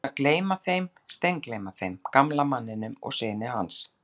Ég var búinn að gleyma þeim, steingleyma þeim, gamla manninum og syni hans.